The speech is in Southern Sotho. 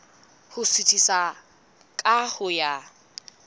ho suthisa ka ho ya